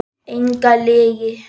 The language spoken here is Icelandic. Enga lygi.